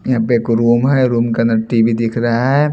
यहां पे एक रूम है रूम का अंदर टी_वी दिख रहा है।